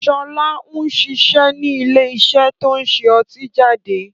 Sọlá ń ṣiṣẹ́ ni ilé iṣẹ́ to ń ṣe ọtí jáde